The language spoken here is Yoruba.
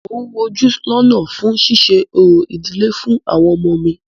Mo ń wojú lọ́nà fún ṣíṣe orò ìdílé fún àwọn ọmọ mí.